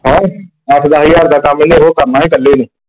ਹੈਂ, ਅੱਠ ਦੱਸ ਹਾਜਰ ਦਾ ਕੱਮ ਮਿਲਿਆ ਸੀ ਉਹ ਕਰਨਾ ਹੈ ਕੱਲੇ ਨੇ।